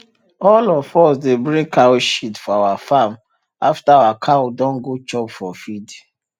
all us dey bring cow shit for our farm after our cow don go chop for field